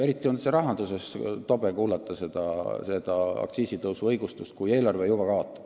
Eriti on rahanduses tobe kuulata säärast aktsiisitõusu õigustust, kui eelarve juba kaotab.